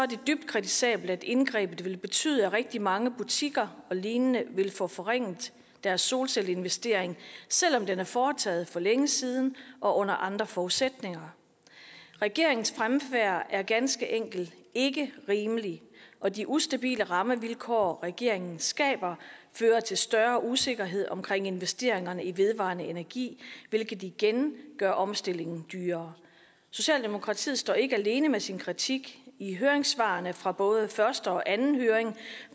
dybt kritisabelt at indgrebet vil betyde at rigtig mange butikker og lignende vil få forringet deres solcelleinvestering selv om den er foretaget for længe siden og under andre forudsætninger regeringens fremfærd er ganske enkelt ikke rimelig og de ustabile rammevilkår regeringen skaber fører til større usikkerhed omkring investeringerne i vedvarende energi hvilket igen gør omstillingen dyrere socialdemokratiet står ikke alene med sin kritik af høringssvarene fra både første og anden høring